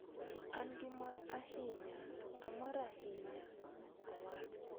"An gi mor ahinya, amor ahinya," owacho.